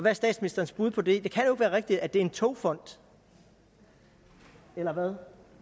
er statsministerens bud på det det kan jo ikke være rigtigt at det er en togfond eller hvad